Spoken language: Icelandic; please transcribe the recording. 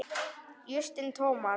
Justin Thomas